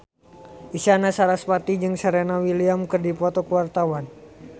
Isyana Sarasvati jeung Serena Williams keur dipoto ku wartawan